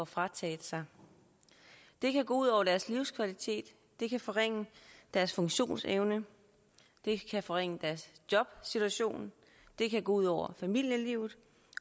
frataget det kan gå ud over deres livskvalitet det kan forringe deres funktionsevne det kan forringe deres jobsituation det kan gå ud over familielivet